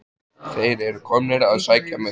Þeir eru komnir að sækja mig.